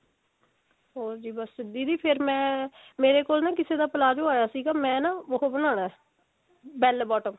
ਹੋਰ ਜੀ ਬਸ ਦੀਦੀ ਫੇਰ ਮੈਂ ਮੇਰੇ ਕੋਲ ਨਾ ਕਿਸੇ ਦਾ palazzo ਆਇਆ ਸੀਗਾ ਮੈਂ ਨਾ ਉਹ ਬਣਾਉਣਾ bell bottom